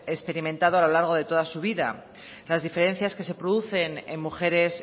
que han experimentado a lo largo de toda su vida las diferencias que se producen en mujeres